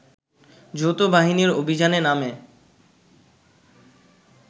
যৌথবাহিনীর অভিযানের নামে